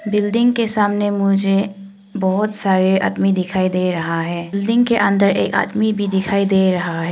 Building के सामने मुझे बहुत सारे आदमी दिखाई दे रहा है बिल्डिंग के अंदर एक आदमी भी दिखाई दे रहा है।